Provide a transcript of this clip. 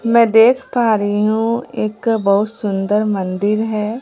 मैं देख पा रही हूं एक बहुत सुंदर मंदिर है।